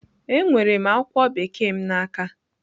Enwere m akwụkwọ Bekee m n'aka.